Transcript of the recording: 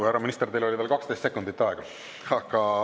Härra minister, teil oli veel 12 sekundit aega.